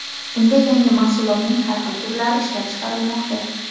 Unda yangi mahsulotning har xil turlari ishlab chiqarilmoqda.